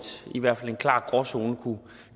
i hvert fald en klar gråzone